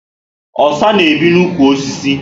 Osa na ebi na ụkwụ osisi